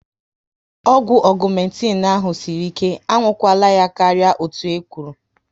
Ọgwụ Ọgumetin ahụ sịrị ike, a nwụkwara ya karịa otú e kwụrụ